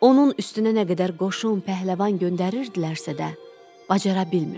Onun üstünə nə qədər qoşun, pəhləvan göndərirdilərsə də, bacara bilmirdilər.